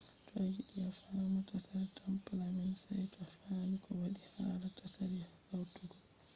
to ayiɗi a faama tsari tampla man saito a faami ko waddi hala tsari hautugo ɗum